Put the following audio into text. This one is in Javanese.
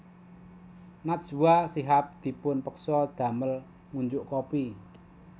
Najwa Shihab dipun peksa damel ngunjuk kopi